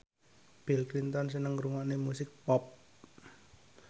Bill Clinton seneng ngrungokne musik pop